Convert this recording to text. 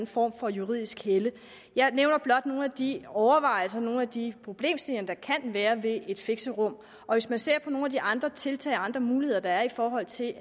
form for juridisk helle jeg nævner blot nogle af de overvejelser nogle af de problemstillinger der kan være ved et fixerum og hvis man ser på nogle af de andre tiltag og andre muligheder der er i forhold til